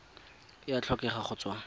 e a tlhokega go tswa